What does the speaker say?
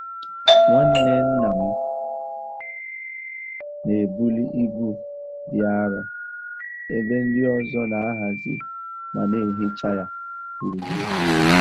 Nwanne nna m n'ebuli ibu dị arọ ebe ndị ọzọ n'ahazi ma n'ehicha ya gburugburu.